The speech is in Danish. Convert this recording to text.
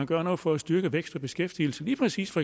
gøre noget for at styrke vækst og beskæftigelse lige præcis